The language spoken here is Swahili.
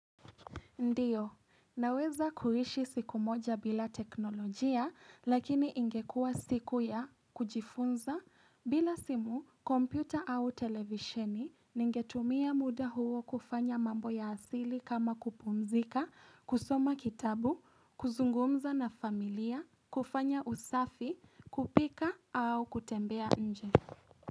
Ndiyo, naweza kuishi siku moja bila teknolojia lakini ingekua siku ya kujifunza bila simu kompyuta au televisheni ningetumia muda huo kufanya mambo ya asili kama kupumzika, kusoma kitabu, kuzungumza na familia, kufanya usafi, kupika au kutembea nje.